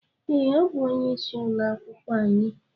Ee, o bú onye ịsị ụlọ akwụkwọ anyị